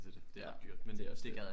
Det er det. Det er også det